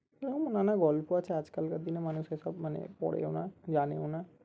এরম নানা গল্প আছে আজকালকার দিনের মানুষ এসব মানে পড়েও না জানেও না